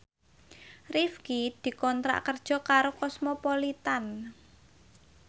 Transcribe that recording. Rifqi dikontrak kerja karo Cosmopolitan